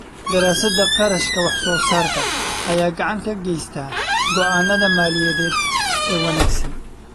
Daraasadda kharashka wax-soo-saarka ayaa gacan ka geysta go'aannada maaliyadeed ee wanaagsan.